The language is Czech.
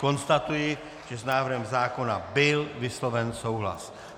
Konstatuji, že s návrhem zákona byl vysloven souhlas.